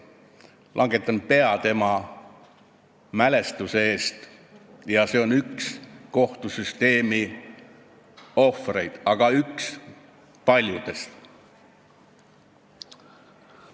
Langetan pea tema mälestuse ees, ta on üks kohtusüsteemi ohvritest, üks paljudest ohvritest.